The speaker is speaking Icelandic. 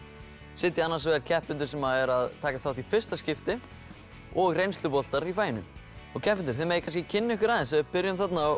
sitja annars vegar keppendur sem eru að taka þátt í fyrsta skipti og reynsluboltar í faginu keppendur þið megið kannski kynna ykkur aðeins ef við byrjum þarna á